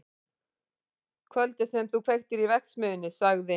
Kvöldið sem þú kveiktir í verksmiðjunni- sagði